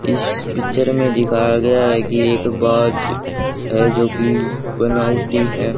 इस पिक्चर में दिखाया गया हैं कि एक बाज़ हैं जो की बनावटी हैं।